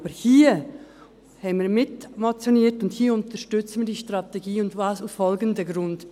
Aber hier haben wir mitmotioniert, und hier unterstützen wir die Strategie, und zwar aus folgendem Grund: